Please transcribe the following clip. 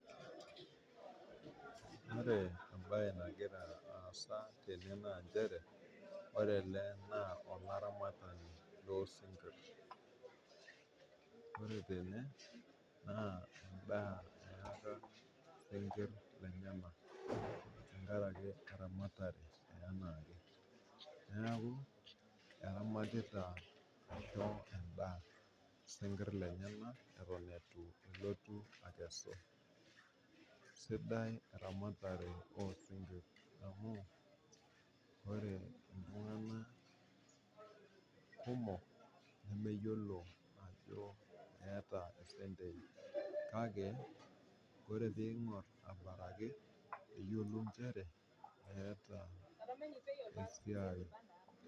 Ore embaye nagira aasa tene naa inchere, ore ale naa laramatani loo sinkirr. Ore tene naa indaa naa eaka sinkirr enyena, tengaraki e ramatare anaake, naaku eramatita aisho endaa sinkirr lenyena eton eitu elotu akesu. Sidai eramatare oo sinkirii amuu ore ltungana kumok nemeyiolo naa ajo keeta sentei, kake kore piing'or abaraki yolo inchere eata esiai.